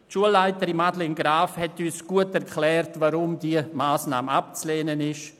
Die Schulleiterin und Grossrätin Graf-Rudolf hat uns gut erklärt, weshalb diese Massnahme abzulehnen ist.